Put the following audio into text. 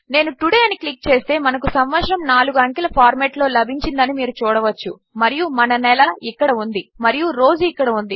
నేను తోడే అని క్లిక్ చేస్తే మనకు సంవత్సరము 4 అంకెల ఫార్మాట్లో లభించిందని మీరు చూడవచ్చు మరియు మన నెల ఇక్కడ ఉంది మరియు రోజు ఇక్కడ ఉంది